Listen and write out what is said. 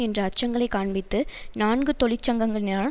என்ற அச்சங்களை காண்பித்து நான்கு தொழிற்சங்கங்களினால்